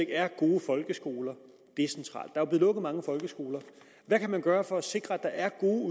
er gode folkeskoler decentralt der er jo blev lukket mange folkeskoler hvad kan vi gøre for at sikre at der er gode